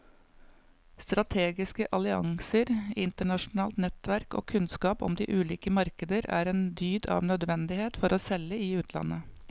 Strategiske allianser, internasjonalt nettverk og kunnskap om de ulike markeder er en dyd av nødvendighet for å selge i utlandet.